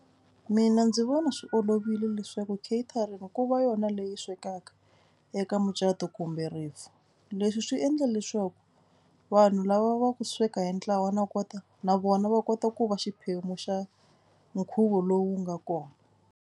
Mina ndzi vona swi olovile leswaku catering ku va yona leyi swekaka eka mucato kumbe rifu. Leswi swi endla leswaku vanhu lava va ku sweka hi ntlawa na kota na vona va kota ku va xiphemu xa nkhuvo lowu nga kona.